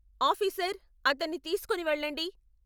Officer, అతన్ని తీసుకుని వెళ్ళండి.